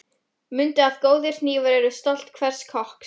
Mundu að góðir hnífar eru stolt hvers kokks.